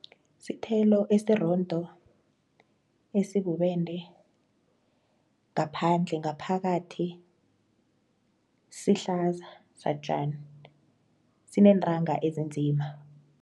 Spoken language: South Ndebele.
Sithelo esirondo, esibubende ngaphandle, ngaphakathi sihlaza satjani sineentanga ezinzima.